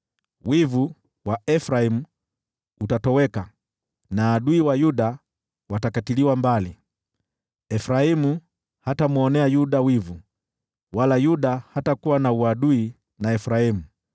Wivu wa Efraimu utatoweka, na adui wa Yuda watakatiliwa mbali; Efraimu hatamwonea Yuda wivu, wala Yuda hatakuwa na uadui na Efraimu.